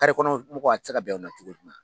kɔnɔ mɔgɔw a tɛ se ka bɛn u ma cogo